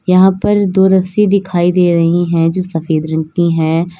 यहां पर दो रस्सी दिखाई दे रही हैं जो सफेद रंग की हैं।